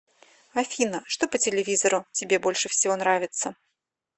афина что по телевизору тебе больше всего нравится